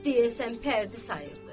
Deyəsən pərdi sayırdı.